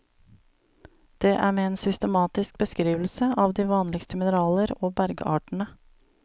Det er med en systematisk beskrivelse av de vanligste mineraler og bergartene.